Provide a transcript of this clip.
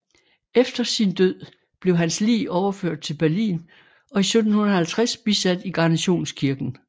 Efter sin død blev hans lig overført til Berlin og i 1750 bisat i Garnisonskirken